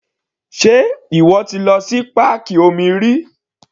Sé ìwọ ti lọ sí páàkì omi rí?